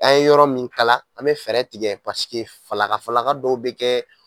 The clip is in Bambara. A ye yɔrɔ min kala an be fɛɛrɛ tigɛ paseke falaka falaka dɔw be kɛ